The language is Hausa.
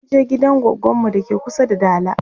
munje gidan goggon mu dake kusa da dala